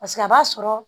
Paseke a b'a sɔrɔ